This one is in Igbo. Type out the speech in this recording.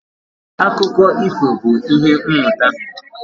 Akụkọ ifo bụ ìhè mmụta